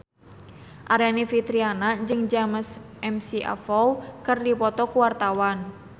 Aryani Fitriana jeung James McAvoy keur dipoto ku wartawan